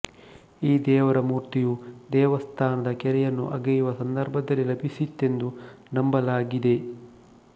ಈ ದೇವರ ಮೂರ್ತಿಯು ದೇವಸ್ಥಾನದ ಕೆರೆಯನ್ನು ಅಗೆಯುವ ಸಂದರ್ಭದಲ್ಲಿ ಲಭಿಸಿತೆಂದು ನಂಬಲಾಗಿದೆ